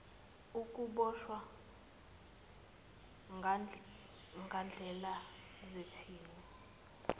ukuboshwa ngandlela thize